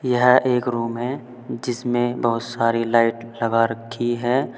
यह एक रूम है जिसमें बहुत सारी लाइट लगा रखी है।